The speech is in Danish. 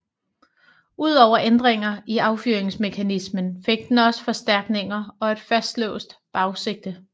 Ud over ændringer i affyringsmekanismen fik den også forstærkninger og et fastlåst bagsigte